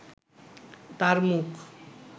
তার মুখ